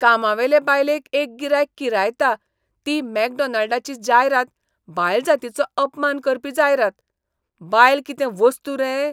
कामावेले बायलेक एक गिरायक किरायता ती मॅकडॉनाल्डाची जायरात बायलजातीचो अपमान करपी जायरात, बायल कितें वस्तू रे?